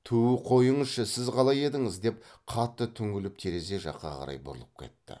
түу қойыңызшы сіз қалай едіңіз деп қатты түңіліп терезе жаққа қарай бұрылып кетті